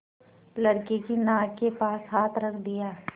लड़के की नाक के पास हाथ रख दिया